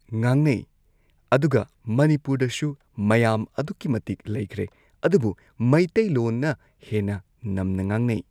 ꯉꯥꯡꯅꯩ ꯑꯗꯨꯒ ꯃꯅꯤꯄꯨꯔꯗꯁꯨ ꯃꯌꯥꯝ ꯑꯗꯨꯛꯀꯤ ꯃꯇꯤꯛ ꯂꯩꯈ꯭ꯔꯦ ꯑꯗꯨꯕꯨ ꯃꯩꯇꯩꯂꯣꯟꯅ ꯍꯦꯟꯅ ꯅꯝꯅ ꯉꯥꯡꯅꯩ